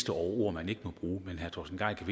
over ord man ikke må bruge men herre torsten gejl